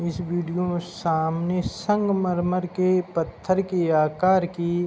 इस वीडियो के सामने संग-मरमर के पत्थर के आकार की --